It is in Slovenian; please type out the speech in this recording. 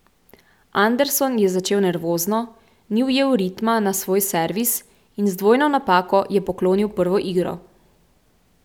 Anderson je začel nervozno, ni ujel ritma na svoj servis in z dvojno napako je poklonil prvo igro.